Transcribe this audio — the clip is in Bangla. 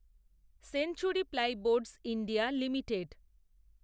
century Plyboards India limited